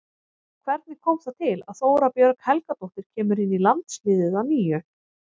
Hvernig kom það til að Þóra Björg Helgadóttir kemur inn í landsliðið að nýju?